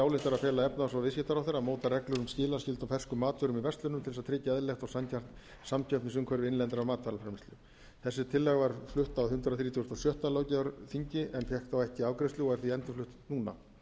ályktar að fela efnahags og viðskiptaráðherra að móta reglur um skilaskyldu á ferskum matvörum í verslunum til þess að tryggja eðlilegt og sanngjarnt samkeppnisumhverfi innlendrar matvælaframleiðslu þessi tillaga var flutt á hundrað þrítugasta og sjötta löggjafarþingi en fékk þá ekki afgreiðslu og er því endurflutt núna